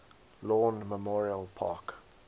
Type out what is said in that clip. lawn memorial park